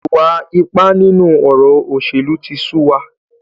Ìwà ipá nínú ọ̀rọ̀ òṣèlú tí sú wa.